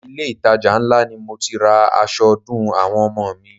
Ilé itàjà ńlá ni mo ti ra aṣọ ọdún àwọn ọmọ mi.